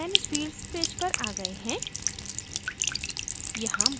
हम manage fields page पर आ गए हैं